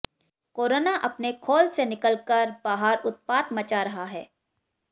corona अपने खोल से निकल कर बाहर उत्पात मचा रहा है